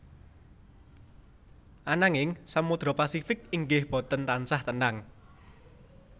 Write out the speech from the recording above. Ananging Samodra Pasifik inggih boten tansah tenang